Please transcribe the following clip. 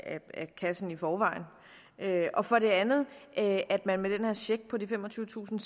kassen i forvejen og for det andet at man med den her check på de femogtyvetusind